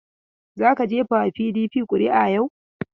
Za ka gefa wa PDP ƙuri'a yau!